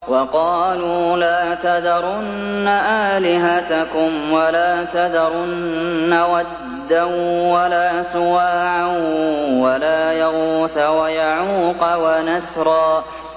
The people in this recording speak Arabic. وَقَالُوا لَا تَذَرُنَّ آلِهَتَكُمْ وَلَا تَذَرُنَّ وَدًّا وَلَا سُوَاعًا وَلَا يَغُوثَ وَيَعُوقَ وَنَسْرًا